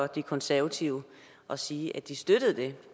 de konservative og sige at de støttede det